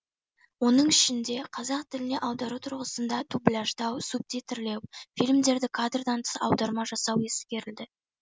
оның ішінде қазақ тіліне аудару тұрғысында дубляждау субтитрлеу фильмдерді кадрдан тыс аударма жасау ескерілді